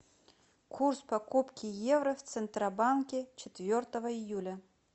курс покупки евро в центробанке четвертого июля